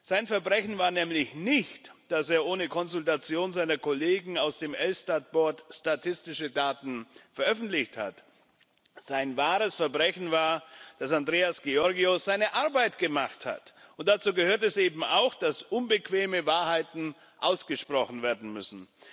Sein Verbrechen war nämlich nicht, dass er ohne Konsultation seiner Kollegen aus dem Elstat Board statistische Daten veröffentlicht hat sein wahres Verbrechen war, dass Andreas Georgiou seine Arbeit gemacht hat, und dazu gehört es eben auch, dass unbequeme Wahrheiten ausgesprochen werden müssen.